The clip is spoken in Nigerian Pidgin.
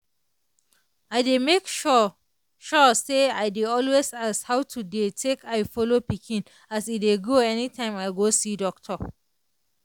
i dey make sure sure say i dey always ask how to dey take eye follow pikin as e dey grow anytime i go see doctor.